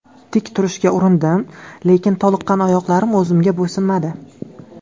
Tik turishga urindim, lekin toliqqan oyoqlarim o‘zimga bo‘ysunmadi.